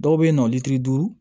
Dɔw bɛ yen nɔ litiri duuru